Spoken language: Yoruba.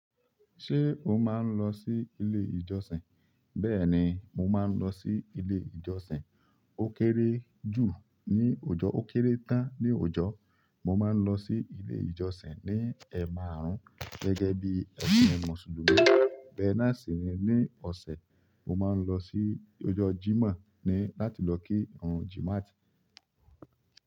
Ṣé o máa ń lọ sí ilé ìjọsìn? Bẹ́ẹ̀ni, mo máa ń lọ sí ilé ìjọsìn. Ó kéré jù ní oojọ́, ó kéré tán ní oojọ́. Mo máa ń lọ sí ilé ìjọsìn ní ẹ̀maarun gẹ́gẹ́ bí ẹ̀sìn Mùsùlùmí. Bẹ́ náà sì ni ní ọ̀sẹ̀, mo máa ń lọ sí ọjọ́ Jímọ̀ ni láti lọ kí ìrùn Jímát.